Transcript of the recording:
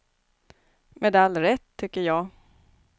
Med all rätt, tycker jag.